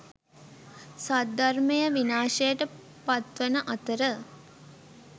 සද්ධර්මය විනාශයට පත්වන අතර